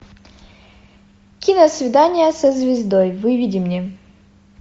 киносвидание со звездой выведи мне